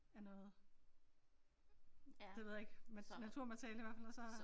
Ja noget det ved jeg ikke naturmateriale i hvert fald og så